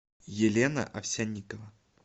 елена овсянникова